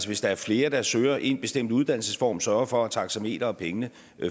hvis der er flere der søger én bestemt uddannelsesform sørger for at taxameter og penge